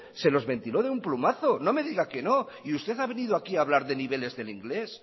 se los ventiló de un plumazo no me diga que no y usted ha venido aquí a hablar de niveles del inglés